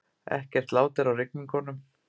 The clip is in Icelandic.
Ekkert lát er á rigningunum